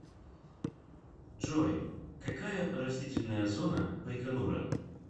джой какая растительная зона байконура